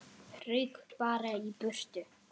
Rauk bara í burtu.